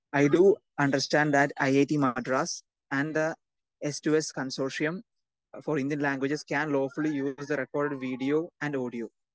Speaker 2 I do under stand that IIT Madras and the S to S consortium for Indian languages can law fully recorder video and audio.